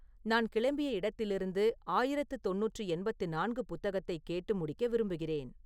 நான் கிளம்பிய இடத்திலிருந்து ஆயிரத்து தொண்ணூற்று எண்பத்து நான்கு புத்தகத்தைக் கேட்டு முடிக்க விரும்புகிறேன்